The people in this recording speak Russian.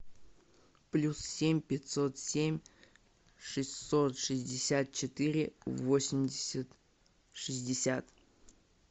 плюс семь пятьсот семь шестьсот шестьдесят четыре восемьдесят шестьдесят